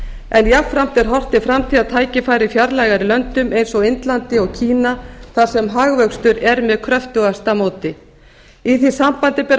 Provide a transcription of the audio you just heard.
en jafnframt er horft til framtíðartækifæra í fjarlægari löndum eins og indlandi og kína þar sem hagvöxtur er með kröftugasta móti í því sambandi ber að